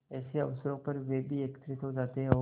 ऐसे अवसरों पर वे भी एकत्र हो जाते और